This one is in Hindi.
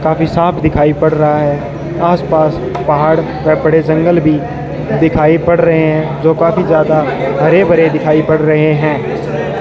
काफी साफ दिखाई पड़ रहा है आस-पास पहाड़ पर बड़े जंगल भी दिखाई पड़ रहे हैं जो काफी ज्यादा हरे-भरे दिखाई पड़ रहे हैं।